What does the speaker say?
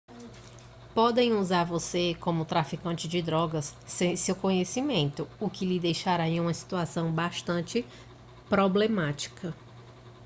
podem usar você como traficante de drogas sem seu conhecimento o que lhe deixará em uma situação bastante problemática